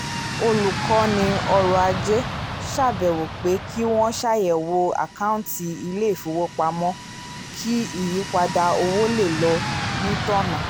olùkọ́ni ọrọ̀ ajé ṣàbẹ̀wò pé kí wọ́n ṣàyẹ̀wò àkọọ́ntì ilé-ifowopamọ́ kí ìyípadà owó lè lọ ní tọ́na